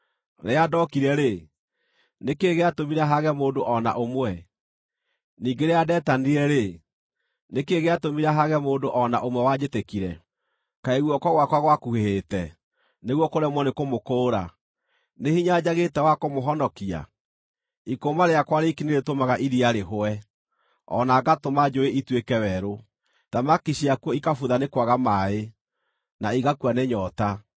Rĩrĩa ndokire-rĩ, nĩ kĩĩ gĩatũmire haage mũndũ o na ũmwe? Ningĩ rĩrĩa ndetanire-rĩ, nĩ kĩĩ gĩatũmire haage mũndũ o na ũmwe wanjĩtĩkire? Kaĩ guoko gwakwa gwakuhĩhĩte, nĩguo kũremwo nĩkũmũkũũra? Nĩ hinya njagĩte wa kũmũhonokia? Ikũũma rĩakwa riiki nĩrĩtũmaga iria rĩhũe, o na ngatũma njũũĩ ituĩke werũ; thamaki ciakuo ikabutha nĩ kwaga maaĩ, na igakua nĩ nyoota.